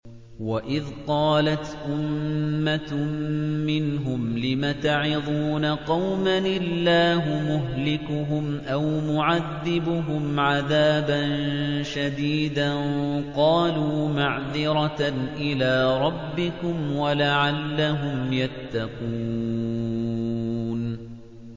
وَإِذْ قَالَتْ أُمَّةٌ مِّنْهُمْ لِمَ تَعِظُونَ قَوْمًا ۙ اللَّهُ مُهْلِكُهُمْ أَوْ مُعَذِّبُهُمْ عَذَابًا شَدِيدًا ۖ قَالُوا مَعْذِرَةً إِلَىٰ رَبِّكُمْ وَلَعَلَّهُمْ يَتَّقُونَ